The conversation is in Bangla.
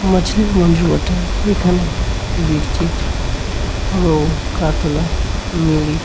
মাছলির মন্জু বটে। এখানে বিরকিট রো-হ কাতলা মিরিক।